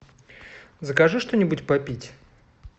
закажи что нибудь попить